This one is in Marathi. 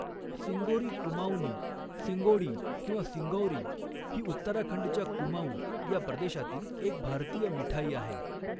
सिंगोरी कुमाऊँनी सिङ्गौड़ी किंवा सिंगौरी ही उत्तराखंडच्या कुमाऊँ या प्रदेशातील एक भारतीय मिठाई आहे.